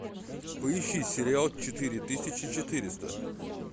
поищи сериал четыре тысячи четыреста